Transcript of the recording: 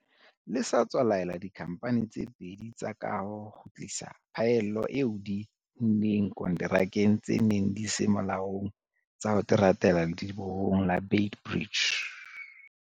Le sa tswa laela dikhamphane tse pedi tsa kaho ho kgutlisa phaello eo di e unneng konterakeng tse neng di se molaong tsa ho teratela ledibohong la Beit Bridge.